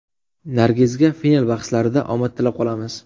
Nargizga final bahslarida omad tilab qolamiz.